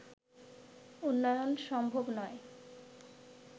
উন্নয়ন সম্ভব নয়